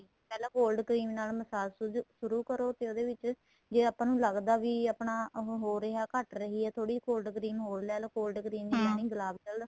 ਪਹਿਲਾਂ cold cream ਨਾਲ massage massage ਸ਼ੁਰੂ ਕਰੋ ਤੇ ਉਹਦੇ ਚ ਜ਼ੇ ਆਪਾਂ ਲੱਗਦਾ ਵੀ ਆਪਣਾ ਉਹ ਹੋ ਰਿਹਾ ਘੱਟ ਰਹੀ ਏ ਥੋੜੀ cold cream ਹੋਰ ਲੈਲੋ cold cream ਨਹੀਂ ਗੁਲਾਬ gel